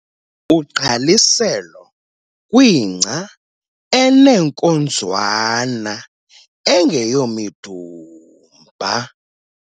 Ugqaliselo kwingca eneenkonzwana - engeyomidumba.